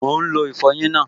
Mò ún lo ìfọyín náà